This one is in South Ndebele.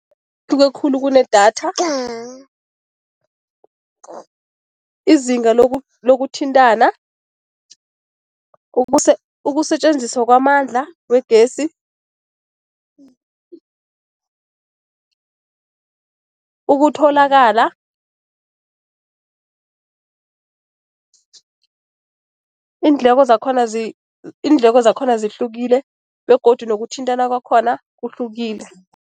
Hluke khulu kunedatha . Izinga lokuthintana, ukusetjenziswa kwamandla wegesi, ukutholakala iindleko zakhona iindleko zakhona zihlukile begodu nokuthintana kwakhona kuhlukile.